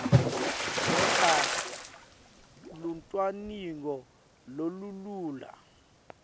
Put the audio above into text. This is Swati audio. kwenta lucwaningo lolulula